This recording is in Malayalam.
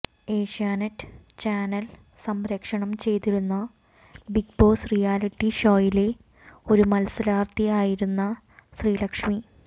ഏഷ്യാനെറ്റ് ചാനൽ സംപ്രേഷണം ചെയ്തിരുന്ന ബിഗ് ബോസ് റിയാലിറ്റി ഷോയിലെ ഒരു മത്സരാർത്ഥിയായിരുന്ന ശ്രീലക്ഷ്മി